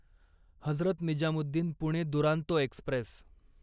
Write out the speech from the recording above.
Hazrat Nizamuddin Pune Duronto Express